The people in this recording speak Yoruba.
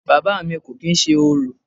Bàbá à mi kò kìí ṣe orò.